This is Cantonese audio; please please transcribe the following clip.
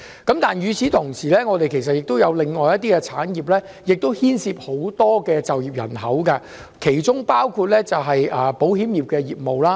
但是，與此同時，我們也有其他牽涉很多就業人口的產業，其中包括保險業。